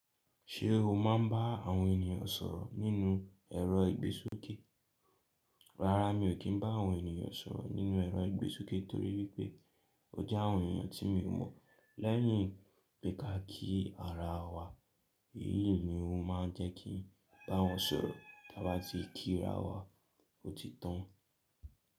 Ṣé o máa ń bá àwọn ènìyàn sọ̀rọ̀ nínú ẹ̀rọ ìgbésókè? Rárá, mi ò kí ń bá àwọn ènìyàn sọ̀rọ̀ nínú ẹ̀rọ ìgbésókè torí wipé ó jẹ́ àwọn ènìyàn tí mi ò mọ̀. Lẹ́yìn pé ka ki ara wa, èyí ni ó máa ń jẹ́ kí n bá wọn sọ̀rọ̀ tí a bá ti kí ra wa, ó ti tán.